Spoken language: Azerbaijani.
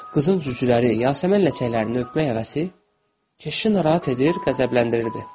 Qızın cücüləri, yasəmən ləçəklərini öpmək həvəsi keşişi narahat edir, qəzəbləndirirdi.